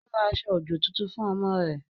Ó ra aṣọ-òjò tuntun fún ọmọ rẹ̀